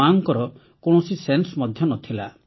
ମାକୁ କୌଣସି ସେନ୍ସ ମଧ୍ୟ ନ ଥିଲା